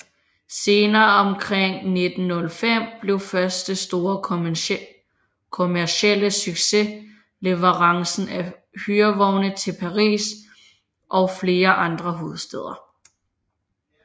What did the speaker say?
Senere omkring 1905 blev første store kommercielle succes leverancen af hyrevogne til Paris og flere andre hovedstæder